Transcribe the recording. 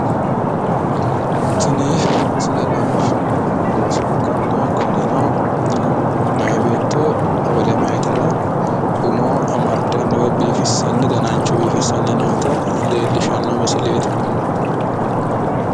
tini misile leellishshannohu looso ikkanna kunino meya beetto wole meyaatera umo amaddanna woyi danancho biifissanni noota leellishshanno misileeti,